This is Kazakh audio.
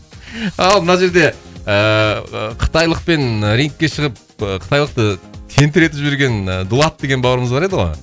ал мына жерде ыыы қытайлықпен рингке шығып кытайлықты тентіретіп жіберген і дулат деген бауырымыз бар еді ғой